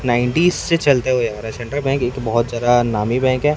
Nineties से चलते हुए आ रहे हैं सेंट्रल बैंक एक बहोत जादा नामी बैंक है।